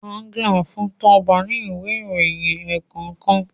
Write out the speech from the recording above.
Agnes fun Toba ní Ìwé ìròyìn ẹ̀ẹ̀kọ̀kan